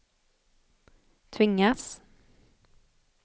tvingas